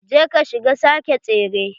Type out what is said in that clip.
Je ka shiga sake tsere.